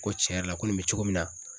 Ko cɛn yɛrɛ la ko nin be cogo min na